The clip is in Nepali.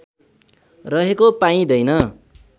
रहेको पाइँदैन